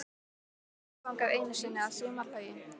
Ég fór þangað einu sinni að sumarlagi.